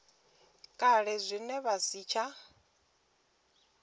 kale zwine zwa si tsha